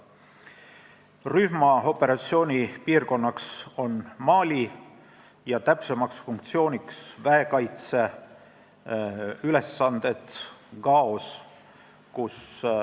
Rühma operatsioonipiirkond on Mali, täpsemalt täidetakse väekaitse ülesandeid Gaos.